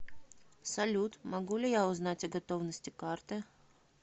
салют могу ли я узнать о готовности карты